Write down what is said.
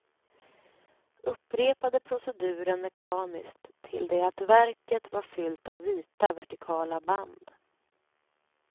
Upprepade proceduren mekaniskt till det att verket var fyllt av vita, vertikala band.